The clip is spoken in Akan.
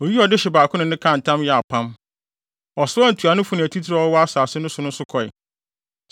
Oyii ɔdehye baako ne no kaa ntam yɛɛ apam. Ɔsoaa ntuanofo ne atitiriw a wɔwɔ asase no so nso kɔe,